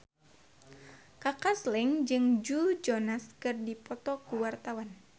Kaka Slank jeung Joe Jonas keur dipoto ku wartawan